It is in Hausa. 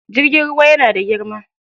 Jirgin ruwa yana da girma.